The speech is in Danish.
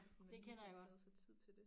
Sådan man lige får taget sig tid til det